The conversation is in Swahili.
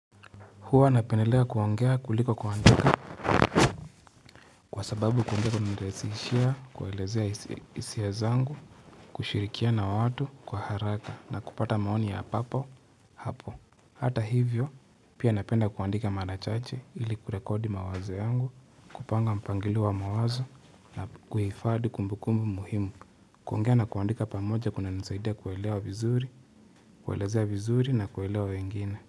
Huwa napendelea kuongea kuliko kuandika kwa sababu kumbea kumenirahisishia, kuelezea hisiya zangu, kushirikiana na watu kwa haraka na kupata maoni ya papo hapo. Hata hivyo, pia napenda kuandika mara chache ili kurekodi mawazo yangu, kupanga mpangilio wa mawazo na kuhifadhi kumbukumbu muhimu. Kuongea na kuandika pamoja kuna nisaidia kuelewa vizuri, kuelezea vizuri na kuelewa wengine.